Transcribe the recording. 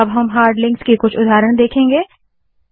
अब हम hard links के कुछ उदाहरण देखेंगे